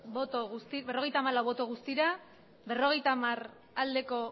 bai berrogeita hamar ez abstentzioak resultado de la votación cincuenta y cuatro